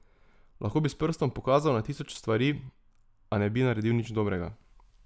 Lahko bi s prstom pokazal na tisoč stvari, a ne bi naredil nič dobrega.